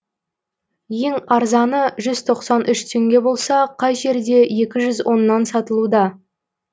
ең арзаны жүз тоқсан үш теңге болса кей жерде екі жүз оннан сатылуда